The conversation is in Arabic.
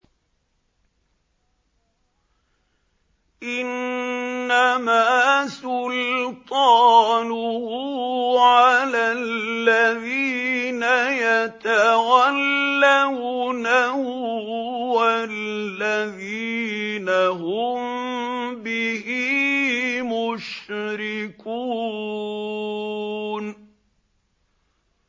إِنَّمَا سُلْطَانُهُ عَلَى الَّذِينَ يَتَوَلَّوْنَهُ وَالَّذِينَ هُم بِهِ مُشْرِكُونَ